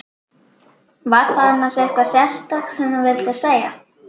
Var það annars eitthvað sérstakt sem þú vildir segja?